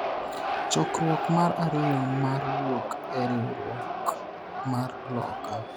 chokruok mar ariyo mar wuok e riwruok mar loka